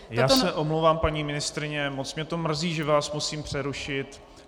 Já se omlouvám, paní ministryně, moc mě to mrzí, že vás musím přerušit.